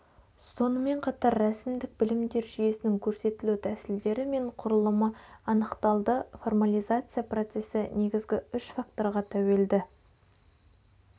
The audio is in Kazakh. сонымен қатар рәсімдік білімдер жүйесінің көрсетілу тәсілдері мен құрлымы анықталды формализация процесі негізгі үш факторға тәуелді